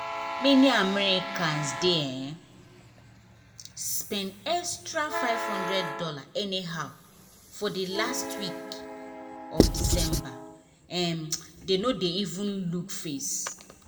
many americans dey um spend extra five hundred dollars anyhow for the last week um of december um dem no dey even look face.